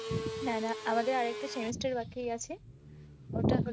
না না আমাদের আরেকটা semester বাকি আছে ওটা হলে